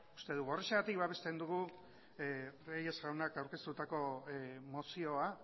uste dugu horrexegatik babesten dugu reyes jaunak aurkeztutako mozioa